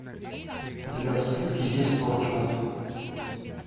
у тебя в списке есть торчвуд